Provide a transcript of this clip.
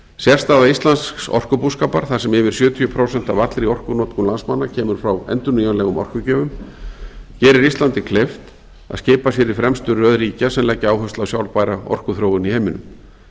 sérstaða íslensks orkubúskapar þar sem yfir sjötíu prósent af allri orkunotkun landsmanna kemur frá endurnýjanlegum orkugjöfum gerir íslandi kleift að skipa sér í fremstu röð ríkja sem leggja áherslu á sjálfbæra orkuþróun í heiminum